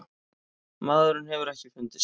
Maðurinn hefur ekki fundist.